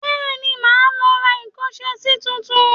Bẹ́ẹ̀ni, màá lọ ra ìkọ́ṣẹsí tuntun